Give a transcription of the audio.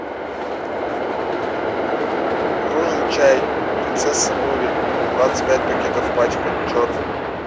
нужен чай принцесса нури двадцать пять пакетов пачка черный